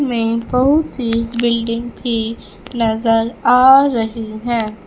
में बहुत सी बिल्डिंग भी नजर आ रही हैं।